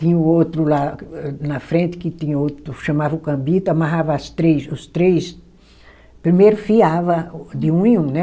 Tinha o outro lá, que âh na frente, que tinha outro, chamava o cambito, amarrava as três, os três, primeiro fiava o de um em um, né,